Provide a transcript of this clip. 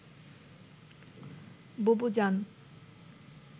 বুবু জান